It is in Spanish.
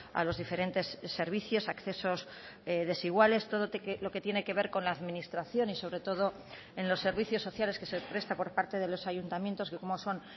a los diferentes servicios accesos desiguales todo lo que tiene que ver con la administración y sobre todo en los servicios sociales que se presta por parte de los ayuntamientos que como son